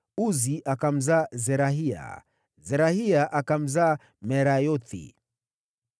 Uzi akamzaa Zerahia, Zerahia akamzaa Merayothi,